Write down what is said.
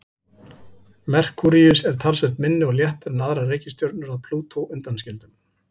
Merkúríus er talsvert minni og léttari en aðrar reikistjörnur að Plútó undanskildum.